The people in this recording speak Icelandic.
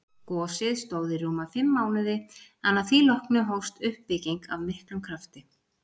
Gosið stóð í rúma fimm mánuði en að því loknu hófst uppbygging af miklum krafti.